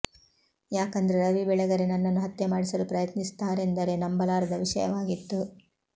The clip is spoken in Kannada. ಯಾಕಂದ್ರೆ ರವಿ ಬೆಳಗೆರೆ ನನ್ನನ್ನು ಹತ್ಯೆ ಮಾಡಿಸಲು ಪ್ರಯತ್ನಿಸುತ್ತಾರೆಂದರೆ ನಂಬಲಾರದ ವಿಷಯವಾಗಿತ್ತು